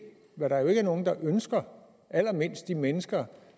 hvad der er jo ikke er nogen ønsker allermindst de mennesker